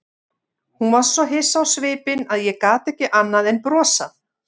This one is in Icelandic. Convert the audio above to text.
Hún var svo hissa á svipinn að ég gat ekki annað en brosað.